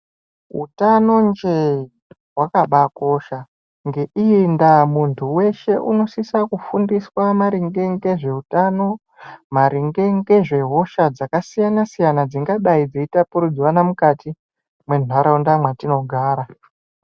hutano njee hwakabakosha ngeindaa muntu veshe unosisa kufundiswa maringe ngezveutano. Maringe ngezvehosha dzakasiyana-siyana, dzingadai dzeitapuridzwana mukati mwentaraunda mwetinogara.